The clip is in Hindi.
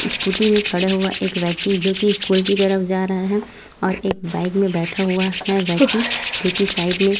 स्कूटी में खड़ा हुआ एक व्यक्ति जो कि स्कूल की तरफ जा रहा है और एक बाइक में बैठा हुआ है व्यक्ति जो कि साइड में--